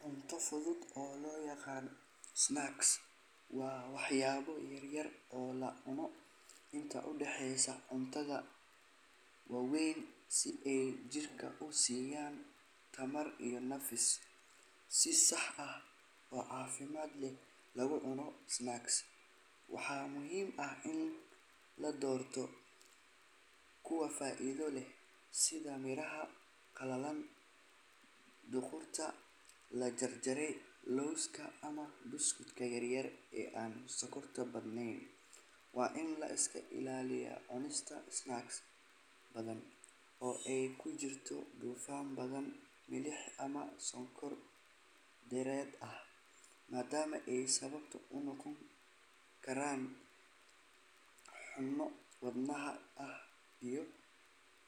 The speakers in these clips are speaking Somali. Cunto fudud oo loo yaqaan snacks waa waxyaabo yar yar oo la cuno inta u dhexeysa cuntada waaweyn si ay jidhka u siiyaan tamar iyo nafis. Si sax ah oo caafimaad leh loogu cuno snacks, waxaa muhiim ah in la doorto kuwa faa’iido leh sida miraha qalalan, khudaarta la jarjaray, lowska, ama buskudka yaryar ee aan sonkorta badnayn. Waa in la iska ilaaliyaa cunista snacks badan oo ay ku jirto dufan badan, milix ama sonkor dheeraad ah, maadaama ay sabab u noqon karaan cayil, xanuuno wadnaha ah iyo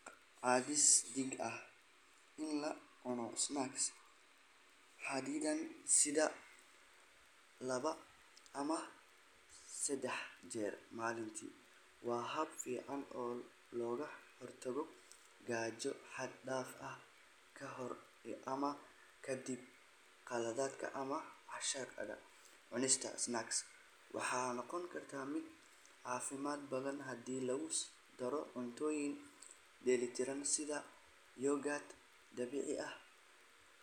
cadaadis dhiig. In la cuno snacks xadidan, sida laba ama saddex jeer maalintii, waa hab fiican oo looga hortago gaajo xad dhaaf ah ka hor ama ka dib qadada ama cashada. Cunista snacks waxay noqotaa mid ka caafimaad badan haddii lagu daro cuntooyin dheellitiran sida yogurt dabiici ah.